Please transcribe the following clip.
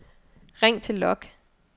ring til log